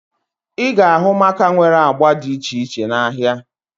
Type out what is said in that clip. Ị ga-ahụ maaka nwere agba dị iche iche n'ahia